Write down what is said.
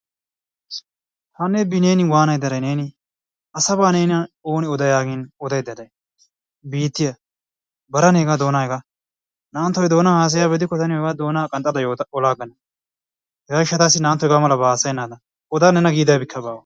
Hana bineeni wanaydda day neeni? Asabaa nena ooni oda yaagin odaydda day? biittiyaa bara negaa doonaa hegaa. Na"antto hegaa haasayiyaabaa gidikko ta niyoo doonaa qanxxada olaagaana. Hegaa giishshatassi na"antto hegaa malabaa hasayennaadan. Oda nena gidabikka baawa.